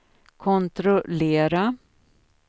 kontrollera